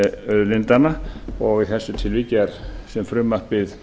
auðlindanna og í þessu tilviki sem frumvarpið